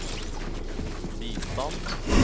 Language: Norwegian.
bistand